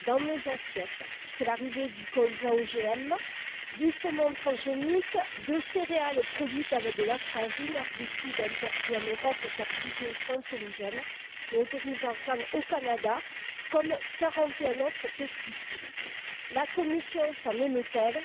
Dans nos assiettes, c'est l'arrivée du colza OGM, du saumon transgénique, de céréales produites avec de l'atrazine, herbicide interdit en Europe car jugé cancérigène, mais autorisé au Canada comme 41 autres pesticides. La Commission s'en émeut elle?